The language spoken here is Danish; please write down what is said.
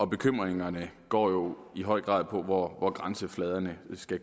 bekymringerne går jo i høj grad på hvor grænsefladerne skal